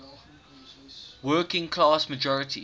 working class majorities